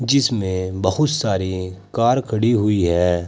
जीसमें बहुत सारे कार खड़ी हुई है।